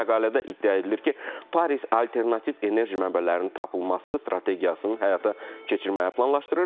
Məqalədə iddia edilir ki, Paris alternativ enerji mənbələrinin tapılması strategiyasının həyata keçirməyi planlaşdırır.